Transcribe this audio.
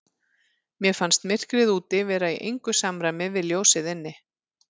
Mér fannst myrkrið úti vera í engu samræmi við ljósið inni.